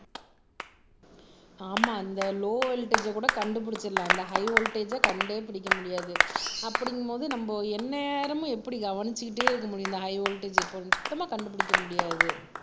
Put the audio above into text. ஆமா அந்த லோ வோல்ட்டேஜ்கூட கண்டு பிடிச்சிடலாம் இந்த ஹை வோல்ட்டேஜ் கண்டே பிடிக்க முடியாது அப்படிங்கும்போது நம்ம எந்நேரமும் எப்படி கவனிச்சுக்கிட்டே இருக்க முடியும் இந்த ஹை வோல்ட்டேஜ் பொருள் சுத்தமா கண்டுபிடிக்க முடியாது